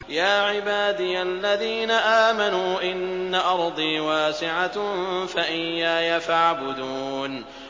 يَا عِبَادِيَ الَّذِينَ آمَنُوا إِنَّ أَرْضِي وَاسِعَةٌ فَإِيَّايَ فَاعْبُدُونِ